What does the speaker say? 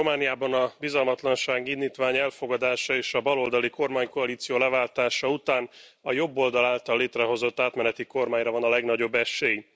Romániában a bizalmatlansági indítvány elfogadása és a baloldali kormánykoalíció leváltása után a jobboldal által létrehozott átmeneti kormányra van a legnagyobb esély.